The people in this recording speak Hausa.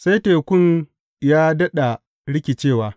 Sai tekun ya daɗa rikicewa.